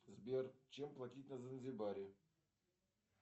сбер чем платить на занзибаре